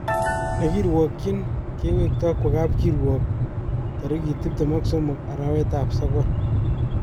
Nekirwokyin kewekto kwo kapkirwok torikit 23arawet tab sokol.